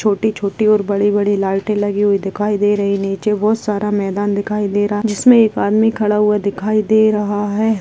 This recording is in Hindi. छोटी छोटी और बड़ी बड़ी लाइटें लगी हुई दिखाई दे रही नीचे बहोत सारा मैदान दिखाई दे रहा जिसमें एक आदमी खड़ा हुआ दिखाई दे रहा है।